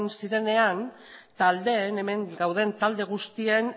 zirenean taldeen hemen gauden talde guztien